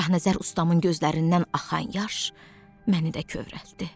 Şahnəzər ustamın gözlərindən axan yaş məni də kövrəltdi.